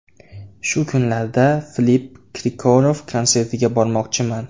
Shu kunlarda Filipp Kirkorov konsertiga bormoqchiman.